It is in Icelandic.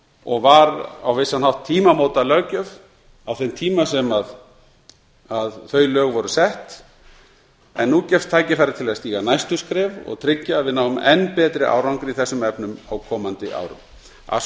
og var á vissan hátt tímamótalöggjöf á þeim tíma sem þau lög voru sett en nú gefst tækifærið til að stíga næstu skref og tryggja að við náum enn betri árangri í þessum efnum á komandi árum að svo